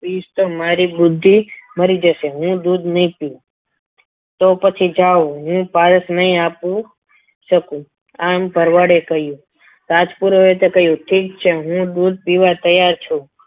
Piece તો મારી બુદ્ધિ મરી જશે હું દૂધ નહીં પીવું તો પછી જાવ હું પારસ નહીં આપું શકું એમ ભરવાડે કહ્યું રાજપુરોહિતે કહ્યું ઠીક છે હું દૂધ પીવા તૈયાર છું.